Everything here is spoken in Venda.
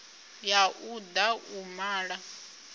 ya u da u mala